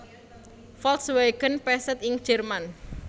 Volkswagen Passat ing Jerman